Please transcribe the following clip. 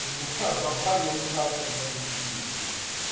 и меня забанили нахер на веки вечные